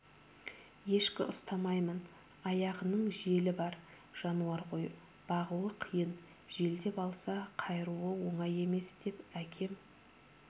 ешкі ұстамаймын аяғының желі бар жануар ғой бағуы қиын желдеп алса қайыруы оңай емес деп әкем